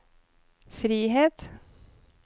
frihet